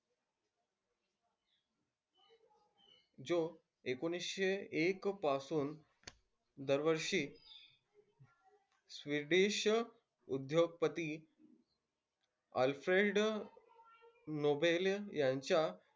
जो एकोणीसशे एक पासून दरवर्षी स्वदेशी उद्योगपति आल्फ्रेड नोबेल यांच्या,